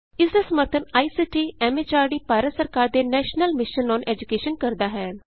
ਇਸ ਦਾ ਸਮਰੱਥਨ ਆਈਸੀਟੀ ਐਮ ਐਚਆਰਡੀ ਭਾਰਤ ਸਰਕਾਰ ਦੇ ਨੈਸ਼ਨਲ ਮਿਸ਼ਨ ਅੋਨ ਏਜੂਕੈਸ਼ਨ ਕਰਦਾ ਹੈ